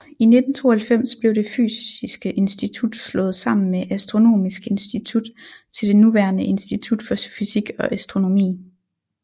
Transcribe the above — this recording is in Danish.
I 1992 blev Det fysiske Institut slået sammen med Astronomisk Institut til det nuværende Institut for Fysik og Astronomi